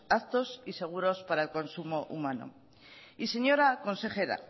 aptos y seguros para el consumo humano y señora consejera